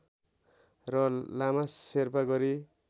र लामा शेर्पा गरी